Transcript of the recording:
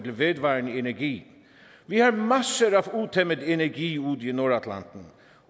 vedvarende energi vi har masser af utæmmet energi ude i nordatlanten